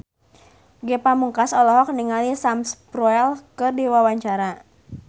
Ge Pamungkas olohok ningali Sam Spruell keur diwawancara